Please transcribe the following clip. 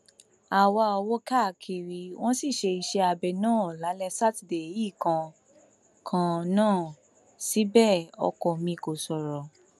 a wá owó káàkiri wọn sì ṣe iṣẹabẹ náà lálẹ sátidé yìí kan kan náà síbẹ ọkọ mi kò sọrọ